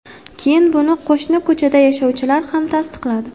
Keyin buni qo‘shni ko‘chada yashovchilar ham tasdiqladi.